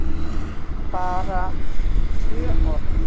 BARA tvö orð?